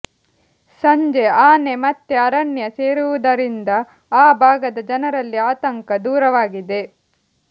ಸಂಜೆ ಆನೆ ಮತ್ತೆ ಅರಣ್ಯ ಸೇರಿರುವುದರಿಂದ ಆ ಭಾಗದ ಜನರಲ್ಲಿ ಆತಂಕ ದೂರವಾಗಿದೆ